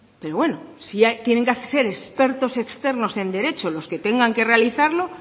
pero bueno si tienen que ser expertos externos en derecho los que tengan que realizarlo